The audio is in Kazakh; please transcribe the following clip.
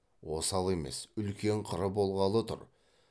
осал емес үлкен қыры болғалы тұр